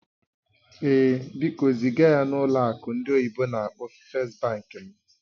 Ee, biko ziga ya na ụlọ akụ ndị oyibo n'akpọ "First Bank" m